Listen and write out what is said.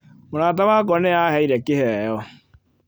Mũrata wakwa nĩ aaheire kĩheo.